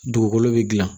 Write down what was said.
Dugukolo bɛ gilan